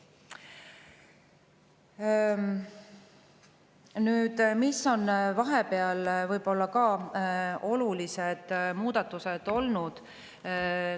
Nüüd sellest, mis olulised muudatused on vahepeal olnud.